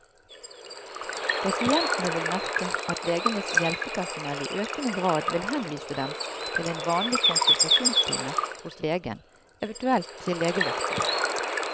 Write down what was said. Pasientene vil merke at legenes hjelpepersonell i økende grad vil henvise dem til en vanlig konsultasjonstime hos legen, eventuelt til legevakten.